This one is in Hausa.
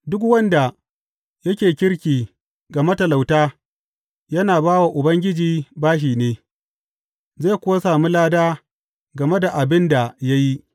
Duk wanda yake kirki ga matalauta yana ba wa Ubangiji bashi ne, zai kuwa sami lada game da abin da ya yi.